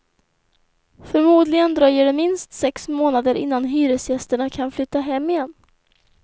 Förmodligen dröjer det minst sex månader innan hyresgästerna kan flytta hem igen.